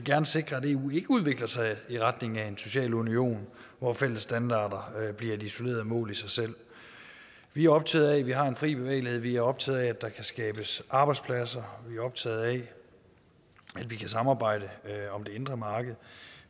sikre at eu ikke udvikler sig i retning af en social union hvor fælles standarder bliver et isoleret mål i sig selv vi er optaget af at vi har en fri bevægelighed vi er optaget af at der kan skabes arbejdspladser og vi er optaget af at vi kan samarbejde om det indre marked